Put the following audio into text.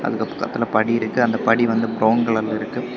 இந்த பக்கத்துல படி இருக்கு அந்த படி வந்து பிரவுன் கலர்ல இருக்கு.